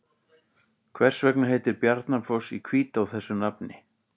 Hvers vegna heitir Barnafoss í Hvítá þessu nafni?